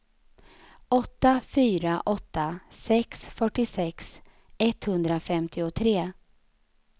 åtta fyra åtta sex fyrtiosex etthundrafemtiotre